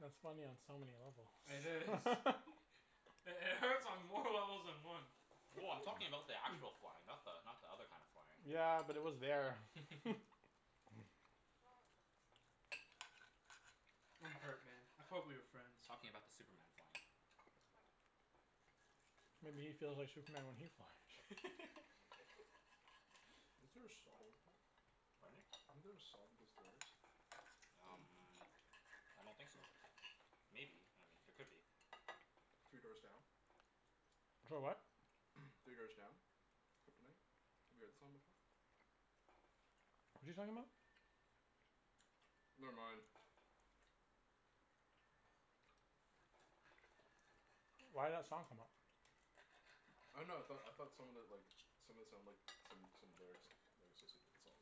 That's funny on so many levels. It is. It hurts on more levels than one. Well, I'm talking about the actual flying. Not the not the other kind of flying. Yeah, but it was there. I'm hurt man, I thought we were friends. Talking about the Superman flying. Maybe he feels like Superman when he flies. Isn't there a song like that? Pardon? Isn't there a song with those lyrics? Um I don't think so. Maybe, I mean there could be. Three Doors Down? Clo- what? Three Doors Down? Kryptonite? Have you heard that song before? What's he talking about? Never mind. Why'd that song come up? I dunno, I thought I thought some of it like, some of it sounded like some some lyrics lyrics associated with the song.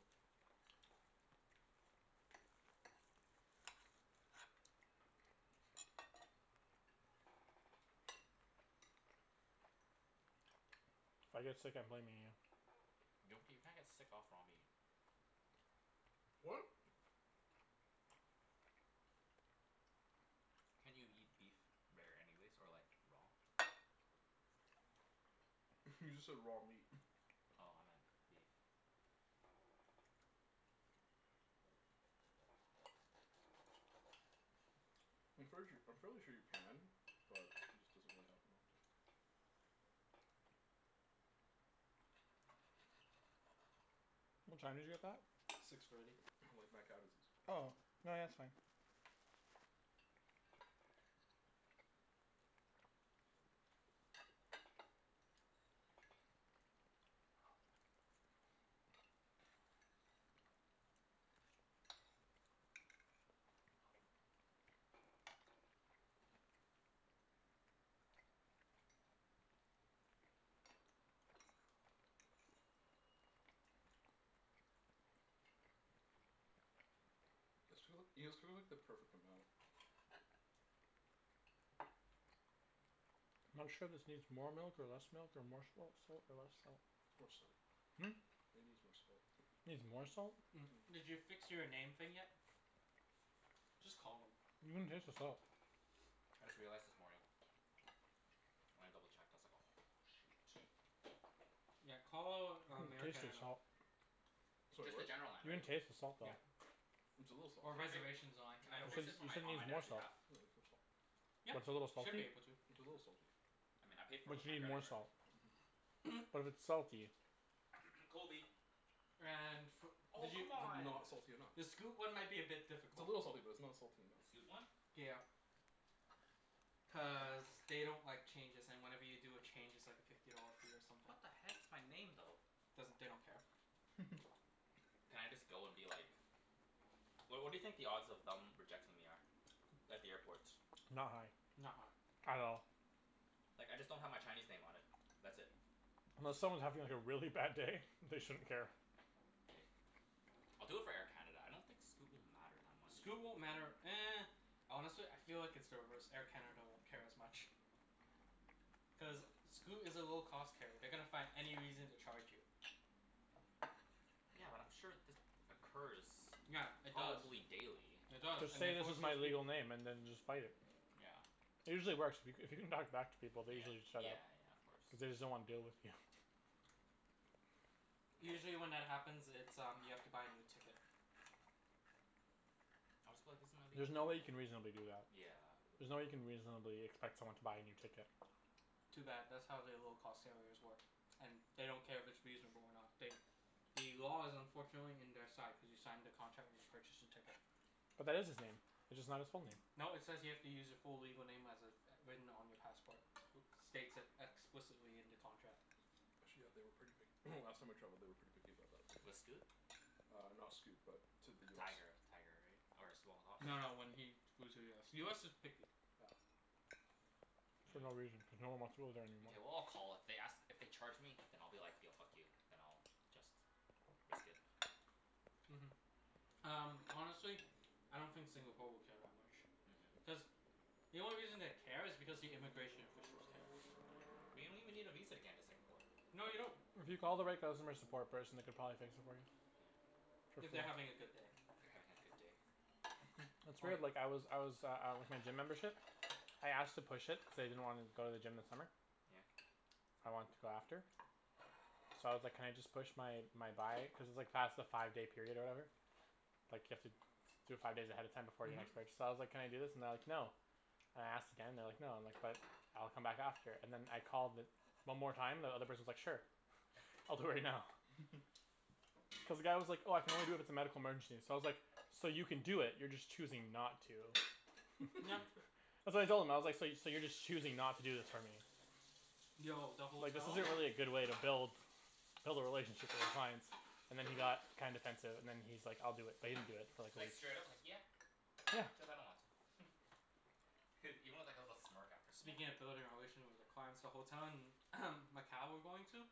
If I get sick I'm blaming you. Gnocchi, you can't get sick off raw meat. What? Can't you eat beef rare anyways? Or like raw? You just said raw meat. Oh, I meant beef. I'm fairly sure I'm fairly sure you can, but it just doesn't really happen often. What time did you get that? Six thirty. Like mad cow disease. Oh. No yeah, that's fine. You guys too- you guys cooked like the perfect amount. Not sure if this needs more milk or less milk or more salt salt or less salt. More salt. Hmm? It needs more salt. Needs more salt? Did you fix your name thing yet? Just call them. You can taste the salt. I just realized this morning. When I double checked I was like "Oh shoot." Yeah, call um Air taste the Canada. salt. Sorry, Just the what? general line, You can right? taste the salt though. Yep. It's a little salty. Or Can I fi- reservations line, can I either Cuz fix works. this for you said it my, on my needs more dad's salt. behalf? Yeah, it needs more salt. Yeah, What's a little should be salty? able to. It's a little salty. I mean I paid for it But with you my need credit more card. salt. Mhm. But it's salty. Kobe. And fo- Oh did you, c'mon. Not salty enough. the Scoot one might be a bit It's a difficult. little salty but it's not salty The Scoot enough. one? Yeah. Cuz God damn. they don't like changes and whenever you do a change it's like a fifty dollar fee or something. What the heck, it's my name though. Doesn't, they don't care. Can I just go and be like What what do you think the odds of them rejecting me are? At the airport. Not high. Not high. At all. Like I just don't have my Chinese name on it. That's it. Unless someone's having like a really bad day they shouldn't care. K, I'll do it for Air Canada. I don't think Scoot will matter that much. Scoot won't matter Honestly I feel like it's the reverse, Air Canada won't care as much. Cuz Scoot is a low cost carrier. They're gonna find any reason to charge you. Yeah, but I'm sure this occurs Yeah, it does. probably daily. It does Just and say they this force is my those peop- legal name and then just fight it. Yeah. It usually works. If you c- if you can talk back to people they Yeah. usually set it. Yeah yeah, of course. Cuz they just don't wanna deal with you. Yes. Usually when that happens it's um you have to buy a new ticket. I'll just be like, "This is my legal There's no way you name," yeah. can reasonably do that. Yeah. There's no way you can reasonably expect someone to buy a new ticket. Too bad, that's how they low cost carriers work. And they don't care if it's reasonable or not, they The law is unfortunately in their side cuz you signed the contract when you purchased the ticket. But that is his name. It's just not his full name. No, it says you have to use your full legal name as it's written on your passport. States it explicitly in the contract. Actually yeah, they were pretty pic- last time I traveled they were pretty picky about that With Scoot? Uh not Scoot, but to the US. Tiger. Tiger, right? Or Small Hoss? No, when he flew to US. US is picky. Yeah. For no reason, Hmm. cuz no one wants to go there anymore. Mkay, well I'll call, if they ask, if they charge me then I'll be like, "Yo, fuck you." Then I'll just risk it. Mhm. Um honestly I don't think Singapore will care that much. Mhm. Cuz the only reason they care is because the immigration officials care. But you don't even need a visa to get into Singapore. No you don't. If you call the right customer support person they could probably fix it for you. For If free. they're having a good day. They're having a good day? That's Oh right, yeah. like I was I was uh uh with my gym membership. I asked to push it, cuz I didn't wanna go to the gym this summer. Yeah? I want to go after. So I was like "Can I just push my my buy" cuz it's like past the five day period or whatever. Like you have to do it five days ahead of time before the Mhm. next purchase, so I was like, "Can I do this?" and they're like, "No." And I asked again and they're like "No." And I'm like, "But, I'll come back after." And then I called the one more time and the other person's like "Sure." "I'll do it right now." Cuz the guy was like, "Oh I can only do it if it's a medical emergency." So I was like, "So you can do it, you're just choosing not to." Uh so I told him I was like, "So you so you're just choosing not to do this for me." Yo, the Like this hotel isn't really a good way to build Build a relationship with your clients and then he got kinda defensive and then he's like, "I'll do it." But he didn't do it for like at Like least straight up like "Yeah, Yeah. cuz I don't want to." Even with like a little smirk after. "Yeah." Speaking of building a relation with the clients the hotel in Macau we're going to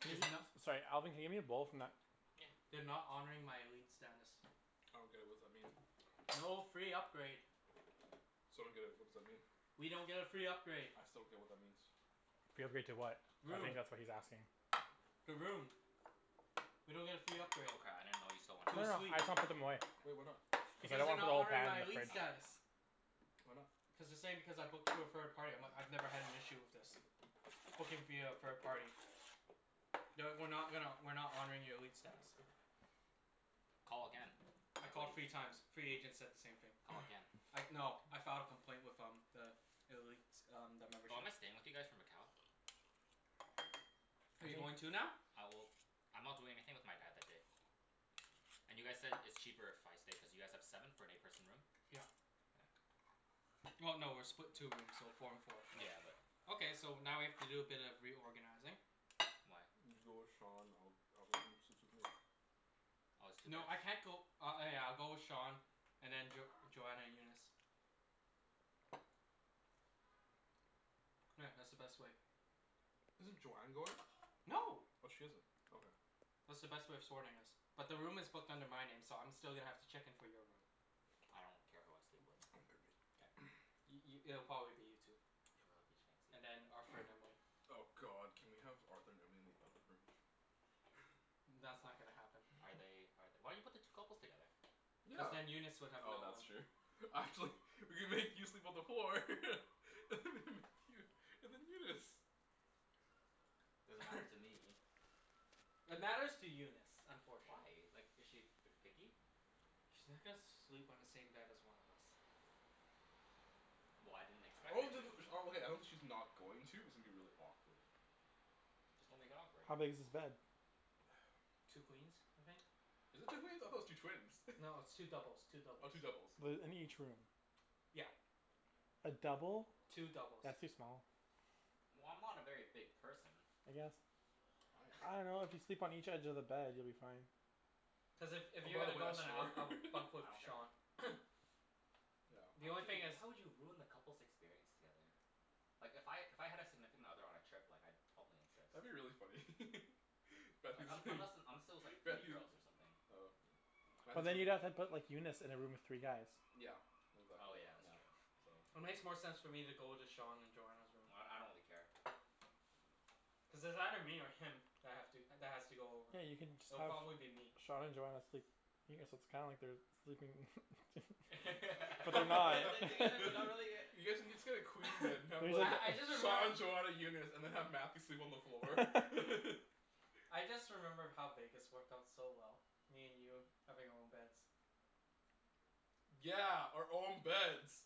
Can you Is no- Sorry Alvin can you hand me a bowl from that Yeah. They're not honoring my elite status. I don't get it, what's that mean? No free upgrade. So I don't get it, what does that mean? We don't get a free upgrade. I still don't get what that means. Free upgrade to what? I Room. think that's what he's asking. The room. We don't get a free upgrade. Oh cra- I didn't know you still wanted To No a no, I suite. just wanna put them away. Well, why not? Cuz I Because don't they're wanna put a not whole honoring pan my in the elite Okay. fridge. status. Why not? Cuz they're saying because I booked through a third party I'm like, "I've never had an issue with this." Booking via a third party. "No, we're not gonna, we're not honoring your elite status." Call again, I I bet called three you times, three agents said the same thing. Call again. I no I filed a complaint with um the elite um the membership. Oh, am I staying with you guys for Macau? Are you going too now? Uh well, I'm not doing anything with my dad that day. And you guys said it's cheaper if I stay cuz you guys have seven for an eight person room? Yeah. Well no, we're split two rooms, so four and four. Yeah, but Okay, so now we have to do a bit of reorganizing. Why? You go with Sean, I'll I'll go in and sleep with Nate. Oh it's two beds? No I can't go, uh oh yeah I'll go with Sean and then Jo- Joanna and Eunice. Yeah, that's the best way. Isn't Joanne going? No. Oh she isn't. Okay. That's the best way of sorting us. But the room is booked under my name so I'm still gonna have to check in for your room. I don't care who I sleep with. K. I- i- it'll probably be you two. I love you And Chancey. then Arthur and Emily. Oh god, can we have Arthur and Emily in the other room? That's Oh. not gonna happen. Are they are th- why you put the two couples together? Cuz Yeah, then Eunice would have oh no one. that's true We could make you sleep on the floor and then Eunice. Doesn't matter to me. It matters to Eunice, Why? unfortunately. Like is she ver- picky? She's not gonna sleep on the same bed as one of us. Well, I didn't expect her to. Okay, I don't think she's not going to, it's gonna be really awkward. Just don't make it awkward. How big is this bed? Two queens, I think. Is it two queens? I thought it was two twins. No, it's two doubles, two Oh, doubles. two doubles. The in each room. Yeah. A double? Two doubles. That's too small. Well, I'm not a very big person. I guess. I I am. dunno, if you sleep on each edge of the bed you'll be fine. Plus if if Oh you're by the gonna way go I then I'll snore I'll bunk I with don't care. Sean. Yeah. The How only would thing is you, how would you have ruined the couples' experience together? Like if I, if I had a significant other on a trip like I'd probably insist. That'd be really funny Like un- unless and unless it was like three Matthew girls or something. Oh yeah, But Matthew's then you'd have have room. to put Eunice in a room with three guys. Yeah. Oh Exactly, yeah, that's yeah. true. So It makes more sense for me to go into Sean and Joanna's room. Well d- I don't really care. Cuz it's either me or him that have to that has to go over. Yeah, you can just It'll have probably be me. Sean and Joanna sleep. Yeah, so it's kinda like they're sleeping They're but they're not together but not really yet. You guys can just get a queen bed and We have can like I I just just Sean remembered Joanna Eunice, and then have Matthew sleep on the floor. I just remember how Vegas worked out so well. Me and you having our own beds. Yeah, our own beds.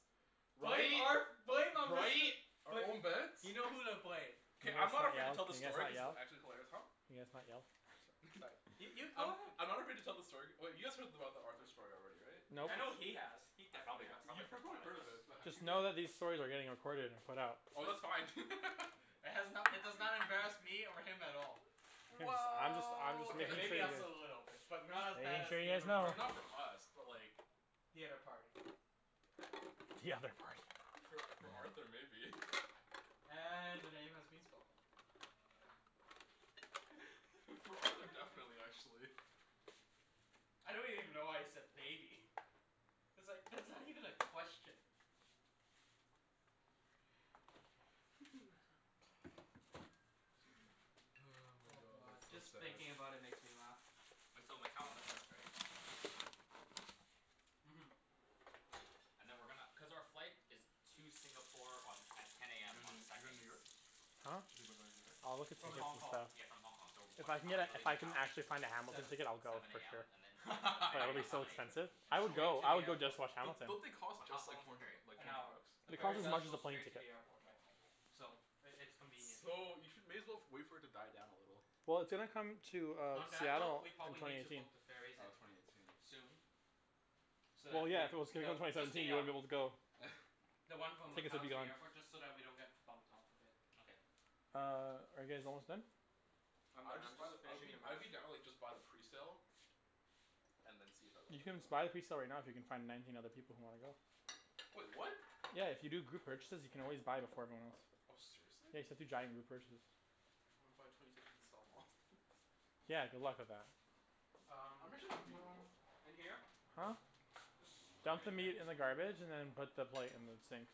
Blame Right? Arth- blame um Mister. Right? Our own beds? You know who to blame. Can K, you I'm guys not not afraid yell? to tell Can the you guys story not cuz it's yell? actually hilarious. Huh? Can you guys not yell? I'm sorry Sorry, you you go I'm ahead. I'm not afraid to tell the story, wait you guys heard about the Arthur story already, right? Nope. In I know Vegas? he has. He I definitely probably got has. I You probably forgot. heard of it but have Just you know that these stories are getting recorded and put out. Oh that's It's fine It has no- it does not embarrass me over him at all. Guys I'm just I'm just Well K, making sure maybe you us guys a little bit. But not as bad Making as sure you the guys other know. I mean party. not for us but like The other party. The other party. For for Arthur maybe. And the name has been spoken. For Arthur, definitely actually. I don't even know why you said maybe. It's like, that's not even a question. my Oh god, god, that's just so sad. thinking about it makes me laugh. Wait, so Macau on the first right? Mhm. And then we're gonna, cuz our flight is to Singapore on, at ten You AM on the doin' you're goin' second. to New York? Huh? Talking about going to New York? I'll look at So s- From tickets Hong and Kong. stuff. s- yeah from Hong Kong, so If what I can time are get we a gonna if leave I can Macau? actually find a Hamilton Seven. ticket I'll go Seven for AM, sure. and then like the But it'll ferry be is so like, expensive. an I would hour? Straight go, to I the would go just airport. to watch Don't Hamilton. don't they cost But how just how like long is four the hundred ferry? like An four hour. hundred bucks? The They ferry cost as does much as go a plane straight to ticket. the airport though. So it it's convenient. So you should, may as well wait for it to die down a little. Well, it's gonna come to uh On that note, Seattle we in probably twenty need to eighteen. book the ferries Oh, at, twenty eighteen. soon. So Well that yeah, we, if it was gonna come though, twenty just seventeen the you wouldn't be um able to go. The one from Tickets would Macau be to gone. the airport, just so that we don't get bumped off of it. Okay. Uh, are you guys almost done? I'm I would done, I'm just buy the, just I would finishing be the I would mash. be down to like just buy the presale. And then see if everyone You would can go. just buy the presale right now if you can find nineteen other people who wanna go. Wait, what? Yeah, if you do group purchases you can always buy them for everyone else. Oh, seriously? Yeah, you just have to giant group purchase. I wanna buy twenty tickets and sell 'em off Yeah, good luck with that. I'm Um pretty sure that'd be doable. in here? Huh? Just chuck it Dump the in here? meat in the garbage and then put the plate in the sink.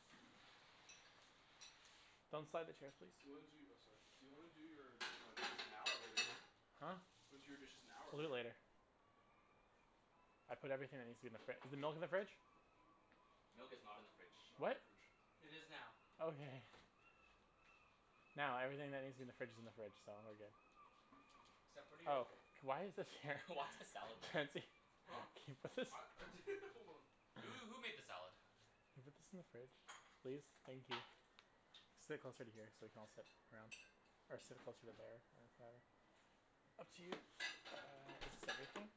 Don't slide the chairs please. Do you wanna do, oh sorry, do you wanna do your uh dishes now or later? Huh? Do you wanna do your dishes now or We'll do it later? later. I put everything that needs to be in the fri- is the milk in the fridge? Milk is not in the Milk fridge. is not in What? the fridge. It is now. Okay. Now everything that needs to be in the fridge is in the fridge, so we're good. Except for the O Oh, J. why is this here Why is the salad there? Chancey. Huh? What's this Hold on. Who who made the salad? Could you put this in the fridge? Please? Thank you. Sit closer to here so we can all sit around or sit closer to there Up to you. Uh is this everything?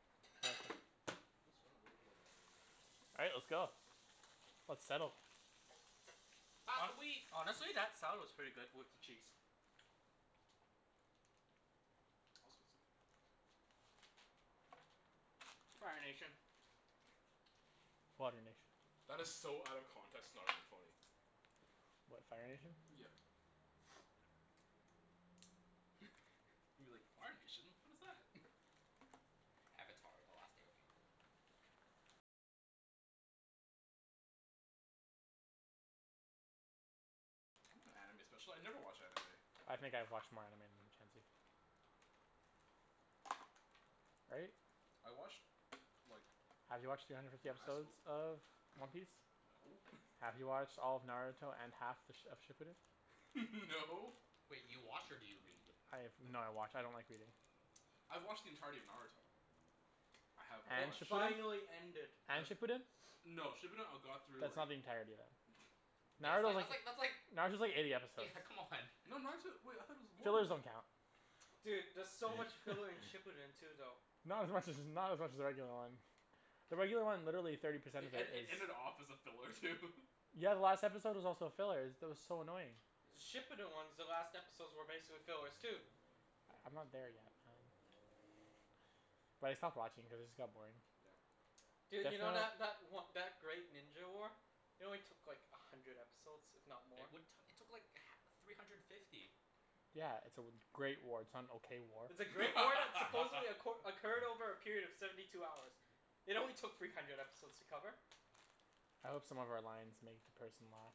Okay. Let's run a little bit of water real quick. All right, let's go. Let's settle. Pass the Hon- wheat. honestly, that salad was pretty good with the cheese. I was gonna sit there. Fire Nation. Water Nation. That is so out of context it's not even funny. What, Fire Nation? Yeah. You're like "Fire Nation? What is that?" Avatar, the Last Airbender. I'm not an anime special- I never watch anime. I think I've watched more anime than you Chancey. Right? I watched like Have you watched three hundred fifty in high episodes school of One Piece? No. Have you watched all of Naruto and half th- of Shippuden? No. Wait, you watch or do you read? I have, no I watch, I don't like reading. I've watched the entirety of Naruto. I have It And watched Shippuden? finally ended. Uh And Shippuden? No, Shippuden I got through That's like not the entirety then. Yeah it's Naruto like was, that's like that's like. Naruto's like eighty episodes. Yeah, come on. No, Naruto, wait I thought it was more than Fillers that. don't count. Dude, there's so much filler in Shippuden too though. Not as much as, not as much as the regular one. The regular one, literally thirty percent It of it ed- it is ended off as a filler too Yeah, the last episode was also a filler. Is, that was so annoying. The Yeah. Shippuden ones, the last episodes were basically fillers too. I'm not there yet um But I stopped watching cuz it just got boring. Yeah. Def Dude, you know wanna that that o- that Great Ninja War? It only took like a hundred episodes, if not more. It what, it took like h- three hundred fifty. Yeah, it's a w- great war. It's not an okay war. It's a great war that supposedly acqu- occurred over a period of seventy two hours. It only took three hundred episodes to cover. I hope some of our lines make the person laugh.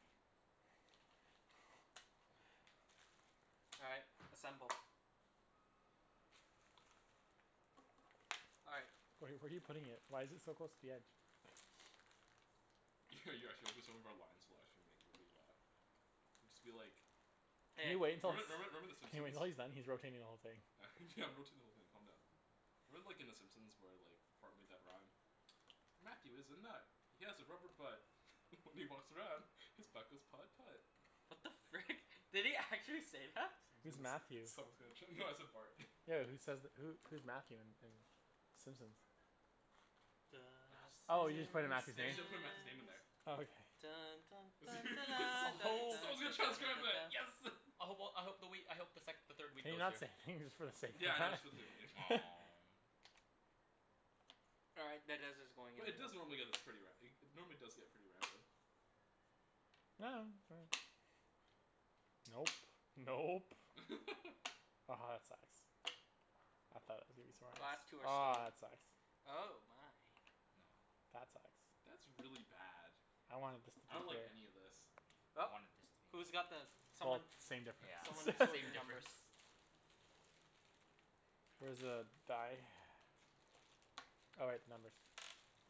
All right, assemble. All right. Where are you where are you putting it? Why is it so close to the edge? You're actually hoping some of our lines will actually make everybody laugh. Just be like Can Hey. you wait until it's, Remember remember remember the can you wait Simpsons? until he's done? He's rotating the whole thing. Yeah I'm rotating the whole thing, calm down. Remember like in the Simpsons where like Bart made that rhyme? "Matthew is a nut, he has a rubber butt." "When he walks around, his butt goes putt putt." What the frick? Did he actually say that? Someone's Who's gonna Matthew? s- someone's gonna tr- no I said Bart. Yo who says th- who who's Matthew in in Simpsons? The Bunch of Oh you just put in Simpsons. Matthew's Yeah, you name? just gotta put Matthew's name in there. Oh okay. Simpsons. Someone's gonna transcribe that. Yes! I hope well I hope the wheat, I hope the sec- the third wheat Can you goes not say here. anything just for the sake of Yeah, I know, that? just All right, that dice is going in But it like does normally that. get this pretty ra- normally does get pretty random. Nope. Nope. Aha that sucks. I thought it was gonna be Last two smartest. are Aw stone, that sucks. oh my. That sucks. That's really bad. I wanted this to be I don't like any here. of this. Well. I wanted this to be Who's got uh the, Well, someone same Yeah, difference. someone it's sort the same numbers. difference. Where's the die? Oh wait, numbers.